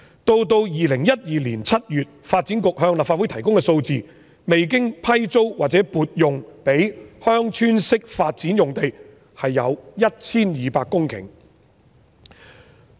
到了2012年7月，發展局向立法會提供數字，未經批租或撥用的鄉村式發展用地有 1,200 公頃。